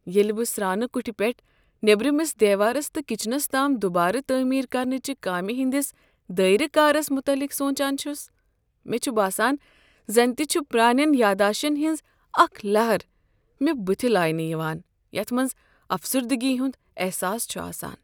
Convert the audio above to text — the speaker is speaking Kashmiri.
ییٚلہ بہٕ سرٛانہٕ کٹھ پیٹھٕ نیٔبرمس دیوارس تہٕ کچنس تام دوبارٕ تعمیر کرنہٕ چہ کامہِ ہٕنٛدس دٲیرہ کارس متعلق سوچان چھس، مےٚ چھ باسان زن تہ چھ پرانین یاداشن ہنٛز اکھ لہر مےٚ بٕتھہ لاینہٕ یوان یتھ منٛز افسردگی ہند احساس چھ آسان۔